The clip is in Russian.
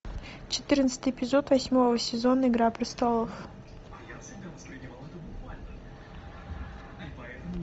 четырнадцатый эпизод восьмого сезона игра престолов